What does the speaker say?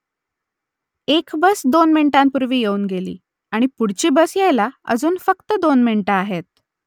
एक बस दोन मिनिटांपूर्वी येऊन गेली आणि पुढची बस यायला अजून फक्त दोन मिनिटं आहेत